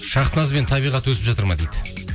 шахназ бен табиғат өсіп жатыр ма дейді